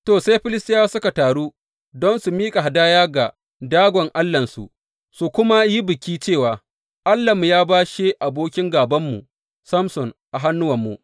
To, sai Filistiyawa suka taru don su miƙa hadaya ga Dagon allahnsu su kuma yi biki cewa, Allahnmu ya bashe abokin gābanmu Samson a hannuwanmu.